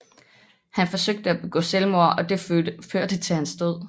Han forsøgte at begå selvmord og det førte til hans død